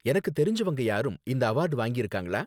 எனக்கு தெரிஞ்சவங்க யாரும் இந்த அவார்டு வாங்கிருக்காங்களா?